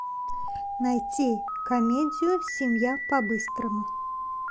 найти комедию семья по быстрому